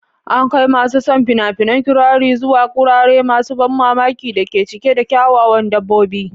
An kai masu son fina-finan kirari zuwa wurare masu ban mamaki da ke cike da kyawawan dabbobi.